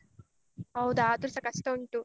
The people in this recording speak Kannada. ಹೌದ ಆದ್ರುಸ ಕಷ್ಟ ಉಂಟು.